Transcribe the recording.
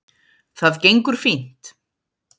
Það gengur fínt